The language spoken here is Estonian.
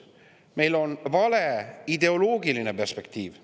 Meie energiapoliitikal on vale ideoloogiline perspektiiv.